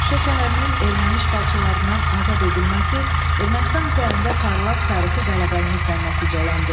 Şuşa şəhərinin erməni işğalçılarından azad edilməsi Ermənistan üzərində parlaq tarixi qələbəmizlə nəticələndi.